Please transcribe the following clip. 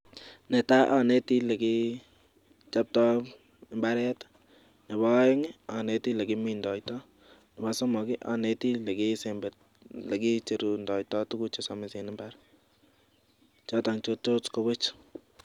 Netaa aneti olikachapta mbaret, nebo ae'ng aneti olekimindoita, nebo somok aneti olekicherundoiata tukuk chesomisen en mbar choto che tot kowech .